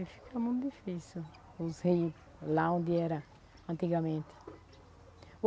E fica muito difícil, os rios lá onde era antigamente.